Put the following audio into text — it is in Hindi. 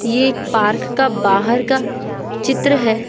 ये एक पार्क का बाहर का चित्र है।